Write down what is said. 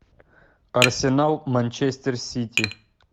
арсенал манчестер сити